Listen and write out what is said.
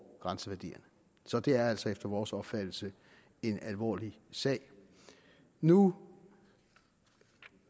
grænseværdierne så det er altså efter vores opfattelse en alvorlig sag nu